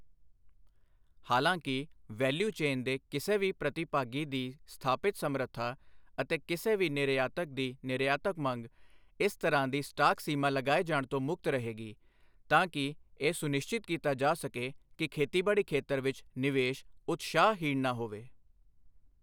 ਹਾਲਾਂਕਿ, value chain ਦੇ ਕਿਸੇ ਵੀ ਪ੍ਰਤੀਭਾਗੀ ਦੀ ਸਥਾਪਿਤ ਸਮਰੱਥਾ ਅਤੇ ਕਿਸੇ ਵੀ ਨਿਰਯਾਤਕ ਦੀ ਨਿਰਯਾਤਕ ਮੰਗ ਇਸ ਤਰ੍ਹਾਂ ਦੀ ਸਟਾਕ ਸੀਮਾ ਲਗਾਏ ਜਾਣ ਤੋਂ ਮੁਕਤ ਰਹੇਗੀ, ਤਾਂ ਕਿ ਇਹ ਸੁਨਿਸ਼ਚਿਤ ਕੀਤਾ ਜਾ ਸਕੇ ਕਿ ਖੇਤੀਬਾੜੀ ਖੇਤਰ ਵਿੱਚ ਨਿਵੇਸ਼ ਉਤਸ਼ਾਹਹੀਣ ਨਾ ਹੋਵੇ।